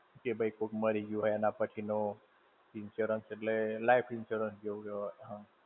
કે ભઈ કોઈ મારી ગયું હોય એના પછીનો, insurance એટલે life insurance જેવું જ હોય.